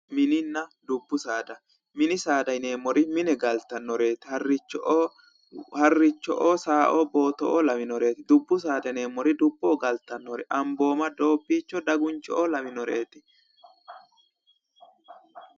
Mininna dubbu saada. Mini saada yineemmori mine galtannoreeti. Harricho"oo saaoo booto"oo lawinoreeti. Dubbu saada yineemmori dubboho galtannoreeti. Ambooma, doobbiicho, daguncho"oo lawinoreeti.